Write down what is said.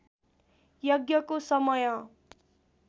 यज्ञको समय